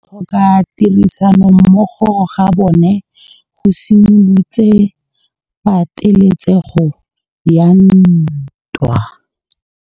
Go tlhoka tirsanommogo ga bone go simolotse patêlêsêgô ya ntwa.